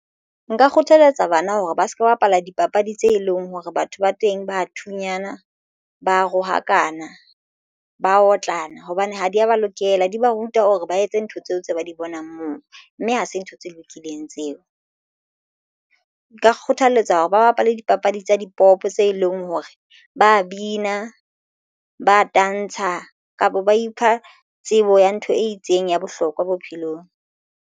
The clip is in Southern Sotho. Nka kgothaletsa banna hore ba se ke ba bapala dipapadi tse leng hore batho ba teng ba thunyana ba rohakana ba otlana hobane ha di ya ba lokela di ba ruta hore ba etse ntho tseo tse ba di bonang moo mme ha se ntho tse lokileng tseo. Nka kgothaletsa hore ba bapale dipapadi tsa dipopo tse leng hore ba bina ba tantsha kapa ba ipha tsebo ya ntho e itseng ya bohlokwa bophelong.